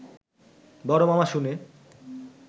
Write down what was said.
বড় মামা শুনে